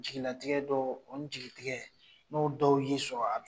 Jigilatigɛ dɔ o ni jigitigɛ n'o dɔw y'i sɔrɔ a